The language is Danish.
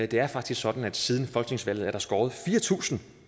det er faktisk sådan at siden folketingsvalget er der skåret fire tusind